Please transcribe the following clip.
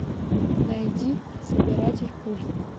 найди собиратель пуль